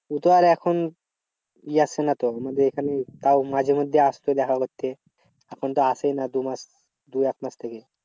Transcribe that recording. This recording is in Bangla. উ তো আর এখন ই আসছে না তো নইলে এখানে তাও মাঝেমধ্যে আসতো দেখা করতে। এখন তো আসেই না দু মাস দু এক মাস ধরে।